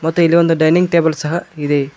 ಮತ್ತೆ ಇಲ್ಲಿ ಒಂದು ಡೈನಿಂಗ್ ಟೇಬಲ್ ಸಹ ಇದೆ.